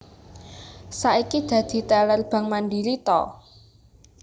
Saiki dadi teller Bank Mandiri to?